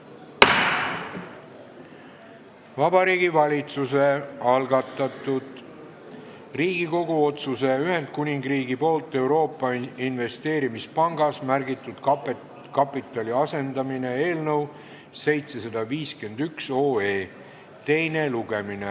Vabariigi Valitsuse algatatud Riigikogu otsuse "Ühendkuningriigi poolt Euroopa Investeerimispangas märgitud kapitali asendamine" eelnõu 751 teine lugemine.